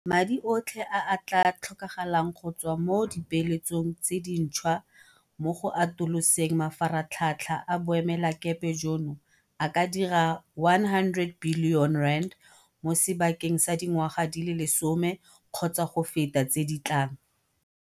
Madi otlhe a a tla tlhokagalang go tswa mo dipeeletsong tse dintšhwa mo go atoloseng mafaratlhatlha a boemelakepe jono a ka dira R100 bilione mo sebakeng sa dingwaga di le lesome kgotsa go feta tse di tlang.